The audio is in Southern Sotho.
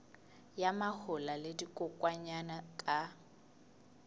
ya mahola le dikokwanyana ka